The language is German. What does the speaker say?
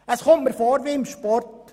Es kommt mir vor wie im Sport: